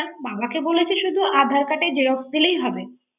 বাবাকে বলছি আদার কার্ডের জেরোক্স দিলেই হবে।